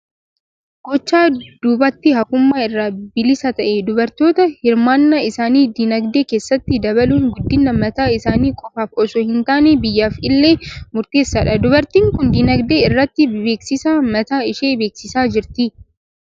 Gochaa duubatti hafummaa irraa bilisa ta'e, dubartoota hirmaannaa isaanii dinagdee keessatti dabaluun guddina mataa isaanii qofaaf osoo hin taane, biyyaaf illee murteessaadha. Dubartiin kun dinagdee irratti beeksisa mataa ishee beeksisaa jirti.